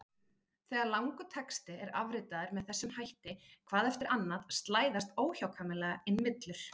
Þegar langur texti er afritaður með þessum hætti hvað eftir annað slæðast óhjákvæmilega inn villur.